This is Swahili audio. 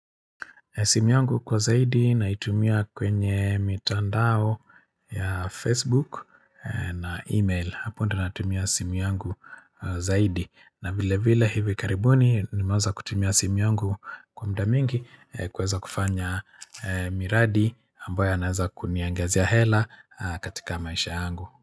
Simu yangu kwa zaidi naitumia kwenye mitandao ya Facebook na email. Hapo ndio natumia simu yangu zaidi. Na vile vile hivi karibuni nimeweza kutumia simu yangu kwa muda mingi kuweza kufanya miradi ambayo yananaweza kuniongezea hela katika maisha angu.